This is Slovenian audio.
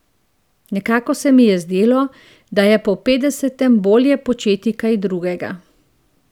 Nekako se mi je zdelo, da je po petdesetem bolje početi kaj drugega.